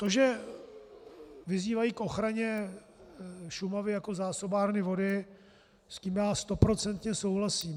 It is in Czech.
To, že vyzývají k ochraně Šumavy jako zásobárny vody, s tím já stoprocentně souhlasím.